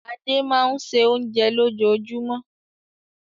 Adé máa ń se oúnjẹ lójoojúmọ́.